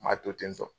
Ma to ten tɔ